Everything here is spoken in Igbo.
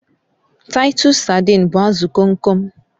Titus saidin but azụ Kom kom